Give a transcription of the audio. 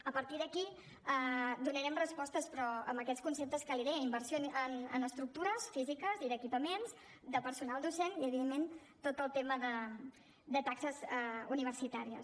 a partir d’aquí donarem respostes però amb aquests conceptes que li deia inversió en estructures físiques i d’equipaments de personal docent i evidentment tot el tema de taxes universitàries